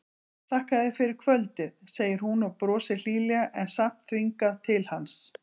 Þakka þér fyrir kvöldið, segir hún og brosir hlýlega en samt þvingað til hans.